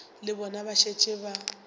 le bona ba šetše ba